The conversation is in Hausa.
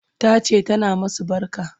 Tace tana masu barka